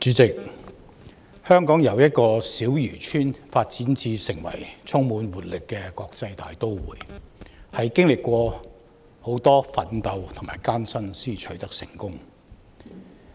主席，香港由一個小漁村發展成為充滿活力的國際大都會，是經歷許多奮鬥和艱辛才取得成功的。